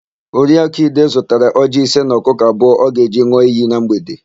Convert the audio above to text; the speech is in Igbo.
Oriakụ Ide zụtara ọjịị ise na ọkụkụ abụọ ọ ga-eji n̄ụọ iyi na mgbede.